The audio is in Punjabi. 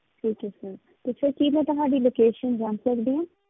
ਠੀਕ ਹੈ sir ਤੇ sir ਕੀ ਮੈਂ ਤੁਹਾਡੀ location ਜਾਣ ਸਕਦੀ ਹਾਂ।